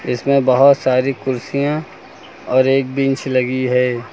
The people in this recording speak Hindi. इसमें बहोत सारी कुर्सियां और एक बेंच लगी है।